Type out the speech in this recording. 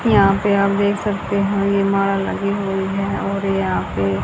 यहां पे आप देख सकते हैं। ये माला लगी हुए है यहां पे--